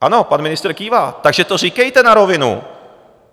Ano, pan ministr kývá, takže to říkejte na rovinu!